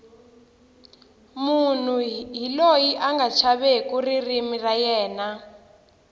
munhu hi loyi anga chaveki ririmi ra yena